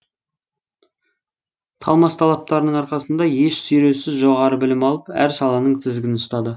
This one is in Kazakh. талмас талаптарының арқасында еш сүйреусіз жоғары білім алып әр саланың тізгінін ұстады